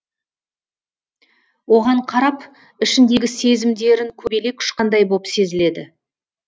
оған қарап ішіндегі сезімдерін көбелек ұшқандай боп сезіледі